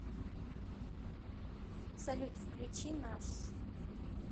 салют включи наш